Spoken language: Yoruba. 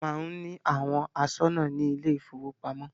A má ń ní àwọn aṣọ́nà ní ilé ìfọwọ́pamo.